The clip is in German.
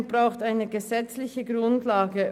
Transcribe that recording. Es braucht eine gesetzliche Grundlage.